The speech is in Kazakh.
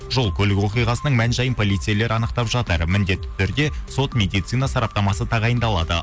жол көлік оқиғасының мән жайын полицейлер анықтап жатыр міндетті түрде сот медицина сараптамасы тағайындалады